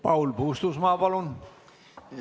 Paul Puustusmaa, palun!